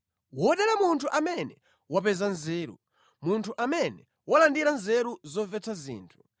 Wodala munthu amene wapeza nzeru, munthu amene walandira nzeru zomvetsa zinthu,